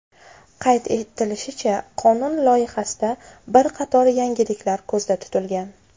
Qayd etilishicha, qonun loyihasida bir qator yangiliklar ko‘zda tutilgan.